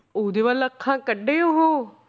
ਉਹਦੇ ਵੱਲ ਅੱਖਾਂ ਕੱਢੇ ਉਹ